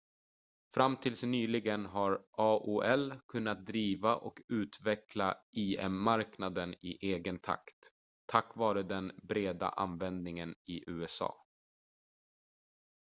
fram tills nyligen har aol kunnat driva och utveckla im-marknaden i egen takt tack vare den breda användningen i usa